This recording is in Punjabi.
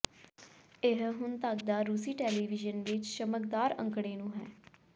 ਇਹ ਹੁਣ ਤੱਕ ਦਾ ਰੂਸੀ ਟੈਲੀਵਿਜ਼ਨ ਵਿਚ ਚਮਕਦਾਰ ਅੰਕੜੇ ਨੂੰ ਹੈ